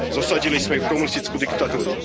Zosadili sme ich komunistickú diktatúru.